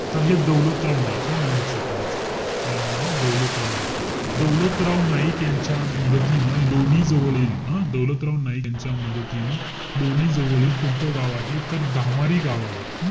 तर हे दौलतराव नाईक, हे नाव लक्षात ठेवायचंय. काय नाव आहे? दौलतराव नाईक. दौलतराव नाईक यांच्या मदतीनं लोणी जवळील हं? दौलतराव नाईक यांच्या मदतीनं लोणी जवळील कोणतं गाव आहे? तर धामारी गावावर.